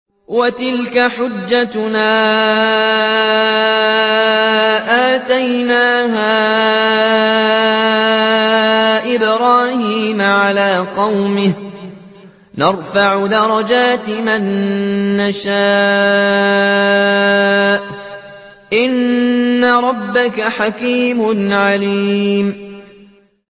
وَتِلْكَ حُجَّتُنَا آتَيْنَاهَا إِبْرَاهِيمَ عَلَىٰ قَوْمِهِ ۚ نَرْفَعُ دَرَجَاتٍ مَّن نَّشَاءُ ۗ إِنَّ رَبَّكَ حَكِيمٌ عَلِيمٌ